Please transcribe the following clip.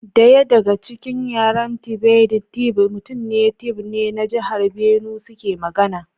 Daya daga cikin yaren Tivoid, Tiv mutanen Tiv ne na jihar Benue suke magana.